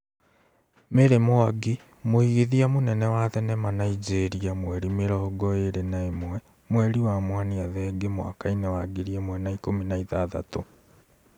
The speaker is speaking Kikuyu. Mary Mwangi, mũigithia mũnene wa thenema Nigeria mweri mĩrongo ĩrĩ na ĩmwe mwerĩ wa Mwania Thenge mwaka-inĩ wa ngĩri ĩmwe na ikũmi na ithathatũ,